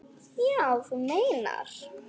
Já, þú meinar.